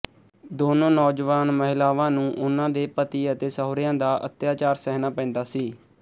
ਦੋਨੋਂ ਨੌਜਵਾਨ ਮਹਿਲਾਵਾਂ ਨੂੰ ਉਹਨਾਂ ਦੇ ਪਤੀ ਅਤੇ ਸਹੁਰਿਆਂ ਦਾ ਅੱਤਿਆਚਾਰ ਸਹਿਣਾ ਪੈਂਦਾ ਸੀ